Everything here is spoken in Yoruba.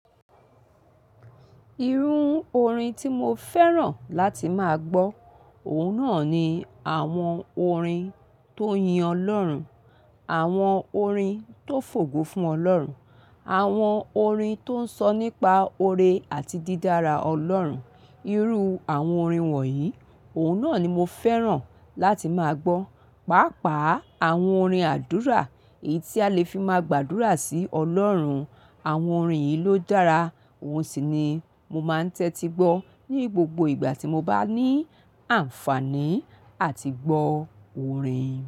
Irú orin tí mo fẹ́ràn láti máa gbọ́, òun náà ni àwọn orin tó yin Ọlọ́run, àwọn orin tó fògo fún Ọlọ́run, àwọn orin tó ń sọ nípa oore àti dídára Ọlọ́run. Irú àwọn orin wọ̀nyí, òun náà ni mo fẹ́ràn láti máa gbọ́. Pàápàá àwọn orin àdúrà èyí tí a le fi máa gbàdúrà sí Ọlọ́run. Àwọn orin yìí ló dára. Ohun sì ni mo máa ń tẹ́tí gbọ́ ní gbogbo ìgbà tí mo bá ní àǹfààní áti gbọ́ orin.